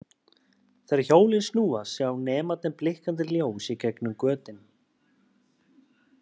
Þegar hjólin snúast sjá nemarnir blikkandi ljós í gegnum götin.